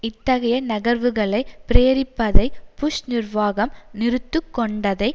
இத்தகைய நகர்வுகளை பிரேரிப்பதை புஷ் நிர்வாகம் நிறுத்துக் கொண்டதை